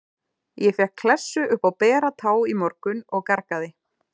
Ég fékk klessu upp á bera tá í morgun og gargaði.